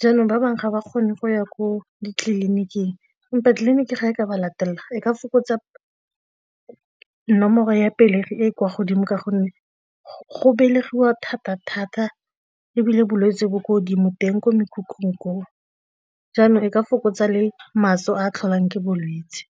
jaanong ba bangwe ga ba kgone go ya ko ditleliniking empa tleliniki ga e ka ba latelela e ka fokotsa nomoro ya pelegi e e kwa godimo ka gonne go belegiwa thata-thata ebile bolwetse bo ko godimo teng ko mekhukhung koo, jaanong e ka fokotsa le maso a tlholang ke bolwetse.